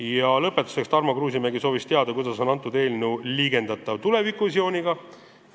Ja lõpetuseks soovis Tarmo Kruusimäe teada, kuidas haakub see eelnõu tulevikuvisiooniga.